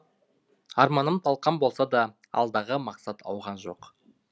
арманым талқан болса да алдағы мақсат ауған жоқ